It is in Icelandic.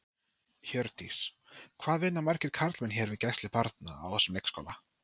Hjördís: Hvað vinna margir karlmenn hér við gæslu barna, á þessum leikskóla?